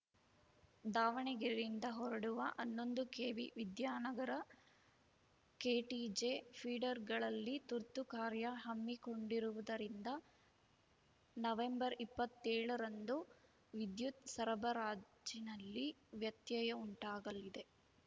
ದಾವಣಗೆರೆಯಿಂದ ಹೊರಡುವ ಹನ್ನೊಂದು ಕೆವಿ ವಿದ್ಯಾನಗರ ಕೆಟಿಜೆ ಫೀಡರ್‌ಗಳಲ್ಲಿ ತುರ್ತು ಕಾರ್ಯ ಹ ಮ್ಮಿಕೊಂಡಿರುವುದರಿಂದ ನವೆಂಬರ್ ಇಪ್ಪತ್ತೆಳ ರಂದು ವಿದ್ಯುತ್‌ ಸರಬರಾಜಿನಲ್ಲಿ ವ್ಯತ್ಯಯ ಉಂಟಾಗಲಿದೆ